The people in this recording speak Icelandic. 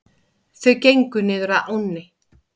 Þau gengu niður að ánni.